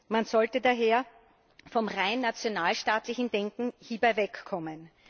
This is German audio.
Man sollte daher vom rein nationalstaatlichen Denken wegkommen.